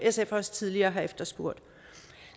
sf også tidligere har efterspurgt